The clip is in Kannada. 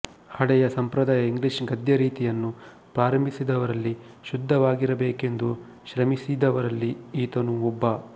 ಹಳೆಯ ಸಂಪ್ರದಾಯದ ಇಂಗ್ಲಿಷ್ ಗದ್ಯರೀತಿಯನ್ನು ಪ್ರಾರಂಭಿಸಿದವರಲ್ಲಿ ಶುದ್ಧವಾಗಿರಬೇಕೆಂದು ಶ್ರಮಿಸಿದವರಲ್ಲಿ ಈತನೂ ಒಬ್ಬ